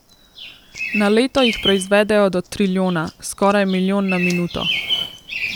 Na leto jih proizvedejo do trilijona, skoraj milijon na minuto.